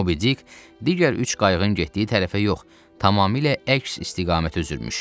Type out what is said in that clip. Mobi Dik digər üç qayığın getdiyi tərəfə yox, tamamilə əks istiqamətə üzürmüş.